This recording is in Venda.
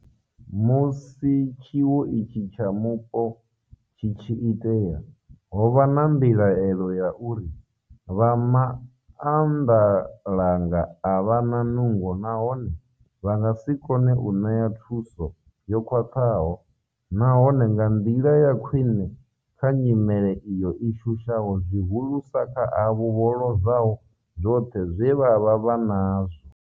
Musi tshiwo itshi tsha mupo tshi tshi itea, ho vha na mbilahelo ya uri vha maanḓalanga a vha na nungo nahone vha nga si kone u ṋea thuso yo khwaṱhaho nahone nga nḓila ya khwiṋe kha nyimele iyo i shushaho zwihulusa kha avho vho lozwaho zwoṱhe zwe vha vha vha nazwo.